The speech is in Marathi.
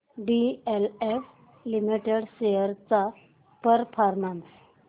डीएलएफ लिमिटेड शेअर्स चा परफॉर्मन्स